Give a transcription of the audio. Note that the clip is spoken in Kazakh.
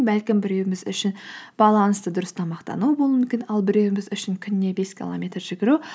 бәлкім біреуіміз үшін балансты дұрыс тамақтану болуы мүмкін ал біреуіміз үшін күніне бес километр жүгіру